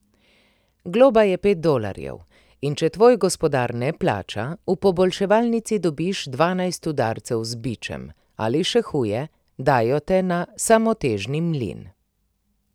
Globa je pet dolarjev, in če tvoj gospodar ne plača, v poboljševalnici dobiš dvanajst udarcev z bičem, ali še huje, dajo te na samotežni mlin.